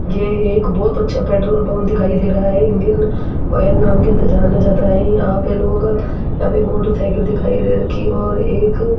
यह एक बहुत अच्छा पेट्रोल पंप दिखाई दे रहा है इंडियन ऑयल नाम के जाना जाता है यहां पे लोग अभी मोटरसाइकिल दिखाई दे रखी है और एक --